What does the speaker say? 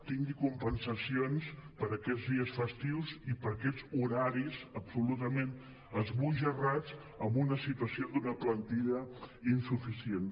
tingui compensacions per a aquests dies festius i per aquests hora·ris absolutament esbojarrats amb una situació d’una plantilla insuficient